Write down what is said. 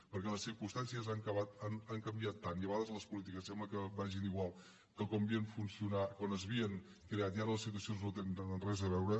perquè les circumstàncies han canviat tant i a vegades les polítiques sembla que vagin igual que quan s’havien creat i ara les situacions no tenen res a veure